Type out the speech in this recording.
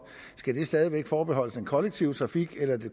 skal de stadig væk forbeholdes den kollektive trafik eller